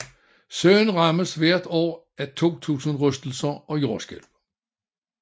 Søen rammes hvert år af 2000 rystelser og jordskælv